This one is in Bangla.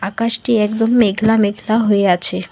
আকাশটি একদম মেঘলা মেঘলা হয়ে আছে।